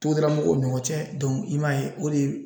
o ni ɲɔgɔn cɛ i m'a ye o de ye